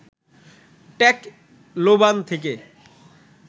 Tacloban থেকে